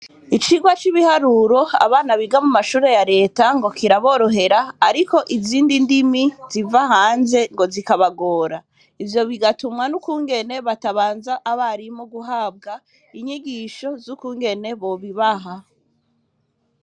Icirwa c'ibiharuro abana biga mu mashure ya leta ngo kiraborohera, ariko izindi ndimi ziva hanze ngo zikabagora ivyo bigatumwa n'ukungene batabanza abarimo guhabwa inyigisho z'ukungene bobibaha.